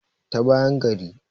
ta bayan gari